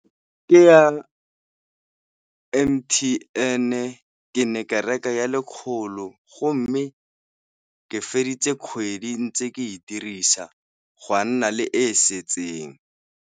Ke ya M_T_N-e, ke ne ke reka ya lekgolo go mme ke feditse kgwedi ntse ke e dirisa go a nna le e e setseng.